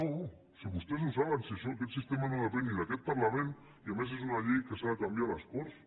no si vostès ho saben si això aquest sistema no depèn ni d’aquest parlament i a més és una llei que s’ha de canviar a les corts